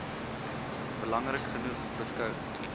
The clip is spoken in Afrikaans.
belangrik genoeg beskou